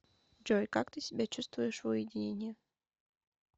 джой как ты себя чувствуешь в уединении